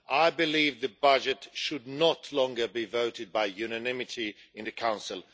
I believe the budget should no longer be voted by unanimity in the Council.